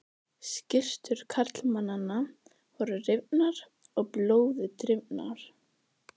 Skyrtur karlmannanna voru rifnar og blóði drifnar.